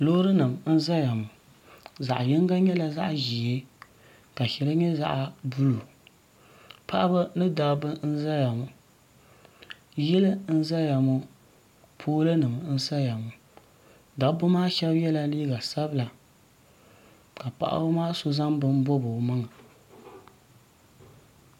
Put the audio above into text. loori nim n ʒɛya ŋo zaɣ yinga nyɛla zaɣ ʒiɛ ka shɛli nyɛ zaɣ buluu paɣaba ni dabba n ʒɛya ŋo yili n ʒɛya ŋo pool nim n saya ŋo dabba maa shab yɛla liiga sabila ka paɣaba so zaŋ bini n bobi o maŋa